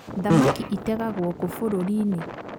Thamaki ĩtegagwo kũ bũrũri-inĩ